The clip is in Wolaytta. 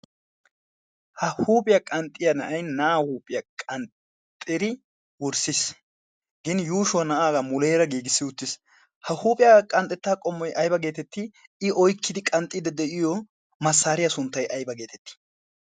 ha huuphiyaa qanxxiyaa na7ai na7aa huuphiyaa qanxxxiri wurssiis gin yuushuwaa na'aagaa muleera giigissi uttiis. ha huuphiyaaga qanxxettaa qommoi aiba geetetti i oikkidi qanxxiida de'iyo massaariyaa sunttay ayba geetettii?